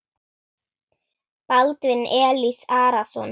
Baldvin Elís Arason.